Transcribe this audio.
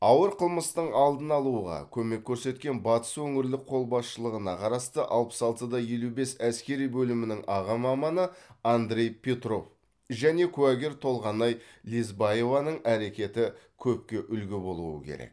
ауыр қылмыстың алдын алуға көмек көрсеткен батыс өңірлік қолбасшылығына қарасты алпыс алты да елу бес әскери бөлімінің аға маманы андрей петров және куәгер толғанай лесбаеваның әрекеті көпке үлгі болуы керек